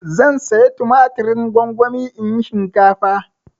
Zan saya tumatirin gongoni in yi shinkafa.